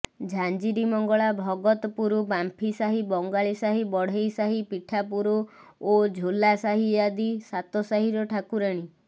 ଝାଞ୍ଜିରୀମଙ୍ଗଳା ଭଗତପୁର ବାମ୍ଫିସାହି ବଙ୍ଗାଳୀସାହି ବଢେଇସାହି ପିଠାପୁର ଓ ଝୋଲାସାହି ଆଦି ସାତସାହିର ଠାକୁରାଣୀ